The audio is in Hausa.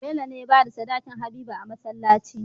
Bello ne yabada sadakin habiba a masalaci